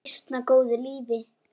Ég lifi býsna góðu lífi!